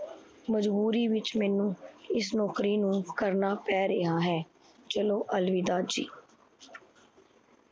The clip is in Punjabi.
ਮਜਬੂਰੀ ਵਿੱਚ ਮੈਨੂੰ ਇਸ ਨੋਕਰੀ ਨੂੰ ਕਰਨਾ ਪੈ ਰੇਹਾ ਹੈ। ਚਲੋ ਅਲਵਿਦਾ ਜੀ l